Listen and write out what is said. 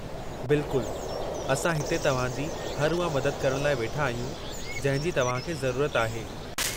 बिलकुल, असां हिते तव्हां जी हर उहा मदद करण लाइ वेठा आहियूं जंहिं जी तव्हां खे ज़रूरत आहे।